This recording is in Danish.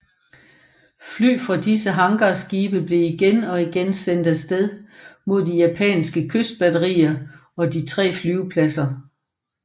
Fly fra disse hangarskibe blev igen og igen sendt af sted mod de japanske kystbatterier og de tre flyvepladser